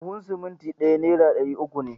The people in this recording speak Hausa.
Buhun simintin ɗaya nera ɗari uku ne